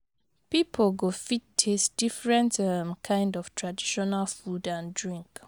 Pipo go fit taste different um kind of traditional food and drink